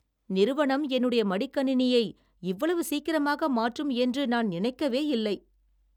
நிறுவனம் என்னுடைய மடிக்கணினியை இவ்வளவு சீக்கிரமாக மாற்றும் என்று நான் நினைக்கவே இல்லை!